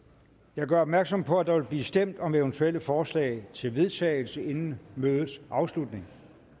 jeg gør opmærksom på at der vil blive stemt om eventuelle forslag til vedtagelse inden mødets afslutning